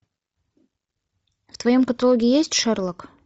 в твоем каталоге есть шерлок